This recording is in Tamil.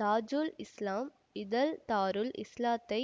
தாஜுல் இஸ்லாம் இதழ் தாருல் இஸ்லாத்தை